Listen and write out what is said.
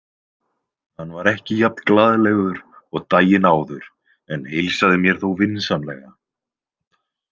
Hann var ekki jafn glaðlegur og daginn áður en heilsaði mér þó vinsamlega.